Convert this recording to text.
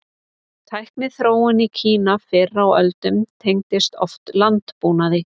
Tækniþróun í Kína fyrr á öldum tengdist oft landbúnaði.